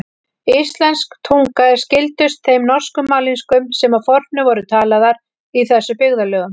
Íslensk tunga er skyldust þeim norsku mállýskum sem að fornu voru talaðar í þessum byggðarlögum.